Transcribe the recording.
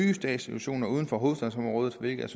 institutioner uden for hovedstadsområdet hvilket